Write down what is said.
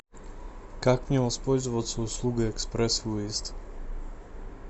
как мне воспользоваться услугой экспресс выезд